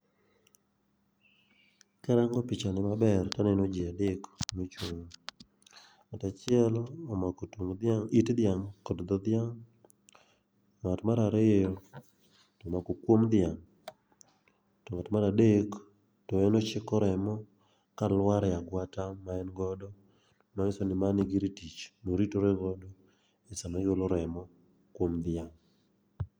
Karango pichani maber taneno ji adek moch, tung',ng'ato achiel omako it dhiang' kod dho dhiang',ng'at mar ariyo omako kum dhiang',to ng'at mar adek to en ochiko remo kalwar e agwata ma en godo, manyiso ni mano e gir tich moritore godo sama ogolo remo kuom dhiang'.